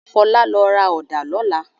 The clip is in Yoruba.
Fọlá lọ ra ọ̀dá lọ́lá!